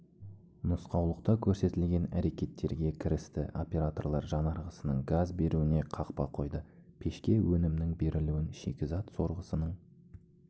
нұсқаулықта көрсетілген әрекеттерге кірісті операторлар жанарғысының газ беруіне қақпа қойды пешке өнімнің берілуін шикізат сорғысының